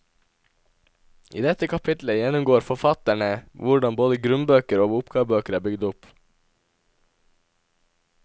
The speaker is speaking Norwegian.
I dette kapitlet gjennomgår forfatterne hvordan både grunnbøker og oppgavebøker er bygd opp.